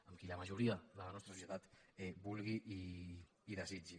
amb qui la majoria de la nostra societat vulgui i desitgi